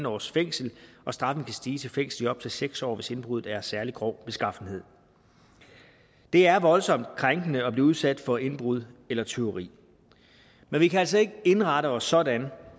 års fængsel og straffen kan stige til fængsel i op til seks år hvis indbruddet er af særlig grov beskaffenhed det er voldsomt krænkende at blive udsat for indbrud eller tyveri men vi kan altså ikke indrette os sådan